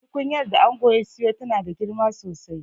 Tukunyar da angon ya siyo tana da girma sosai